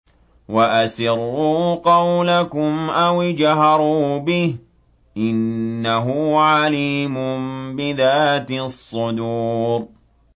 وَأَسِرُّوا قَوْلَكُمْ أَوِ اجْهَرُوا بِهِ ۖ إِنَّهُ عَلِيمٌ بِذَاتِ الصُّدُورِ